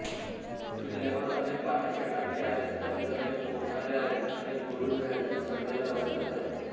किल्ल्यावर अनेक पाण्याचे टाके आहेत तसेच अनेक कोठारे आहेत अनेक बुरुज हे ढासाळलेल्या अवस्थेत आहेत